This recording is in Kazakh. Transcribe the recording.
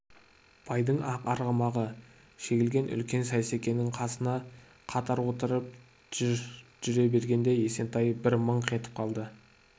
байдың ақ арғымағы жегілген үлкен сейсекенің қасына қатар отырып жүре бергенде есентай бір мыңқ етіп қалды